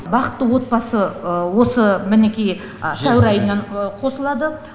бақытты отбасы осы мінекей сәуір айынан қосылады